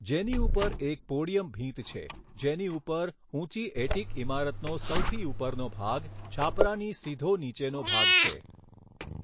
જેની ઉપર એક પોડીયમ ભીંત છે જેની ઉપર ઊંચી એટીક ઈમારતનો સૌથી ઉપરનો ભાગ છાપરાની સીધો નીચેનો ભાગ છે.